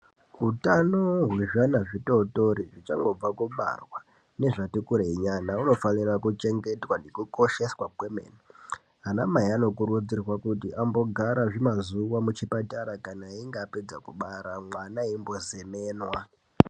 hutano hwezvivana zvidodori zvichangobva kubarwa nezvatikurei nyana hunofanira kuchengetwa nekukosheswa kwemene ana mai anokurudzirwa kuti vambogara muchipatara kana achinge apedza kubara ana eimbozemenwa.